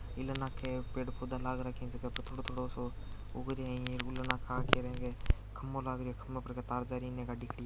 इल नाके पेड पोधा लाग रखी है जी के थोड़ो थोड़ो सो उग रिया ये उले नाके आके इके खम्मो लाग रिया ख्म्मो तार पर के तार जा रहा है इन्हे गाडी खड़ी है।